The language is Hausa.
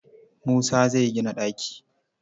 Musa zai gina ɗaki.